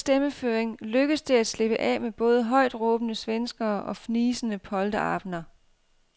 Med en bestemt stemmeføring lykkes det at slippe af med både højtråbende svenskere og fnisende polterabender.